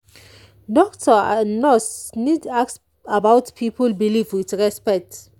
doctor and nurse need ask about people belief with respect.